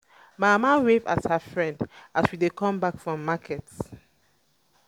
my mama wave at her friend as we dey come back from market